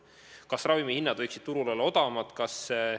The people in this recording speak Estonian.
Kas ravimihinnad võiksid turul olla odavamad?